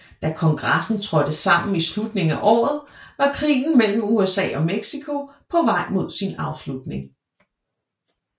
Da kongressen trådte sammen i slutningen af året var krigen mellem USA og Mexico på vej mod sin afslutning